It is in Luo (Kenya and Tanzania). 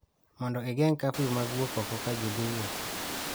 mondo ogeng' kafiu mag wuok oko ka ji dhi wuoth